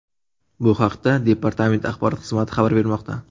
Bu haqda departament axborot xizmati xabar bermoqda.